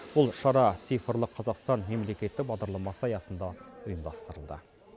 бұл шара цифрлық қазақстан мемлекеттік бағдарламасы аясында ұйымдастырылды